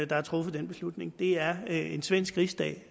der har truffet den beslutning det er en svensk rigsdag